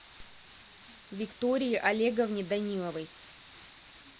виктории олеговне даниловой